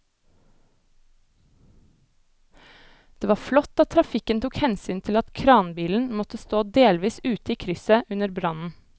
Det var flott at trafikken tok hensyn til at kranbilen måtte stå delvis ute i krysset under brannen.